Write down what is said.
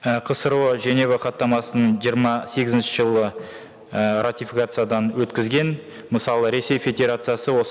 і қсро женева хаттамасын жиырма сегізінші жылы ііі ратификациядан өткізген мысалы ресей федерациясы осы